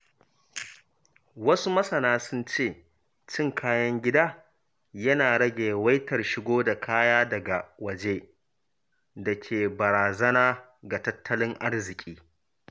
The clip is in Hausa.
Wasu masana sun ce cin kayan gida yana rage yawaitar shigo da kaya daga waje da ke barazana ga tattalin arziƙi.